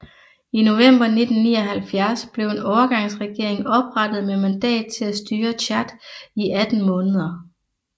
I november 1979 blev en overgangsregering oprettet med mandat til at styre Tchad i 18 måneder